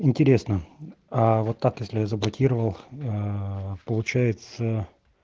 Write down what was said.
интересно а вот так если я заблокировал получается